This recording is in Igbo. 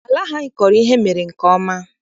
Ala ahụ anyị kọrọ ihe mere nke ọma.